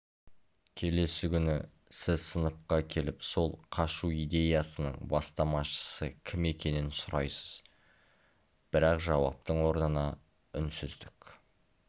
келесі күні сіз сыныпқа келіп сол қашу идеясының бастамашысы кім екенін сұрайсыз бірақ жауаптың орнына үнсіздік